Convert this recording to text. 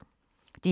DR1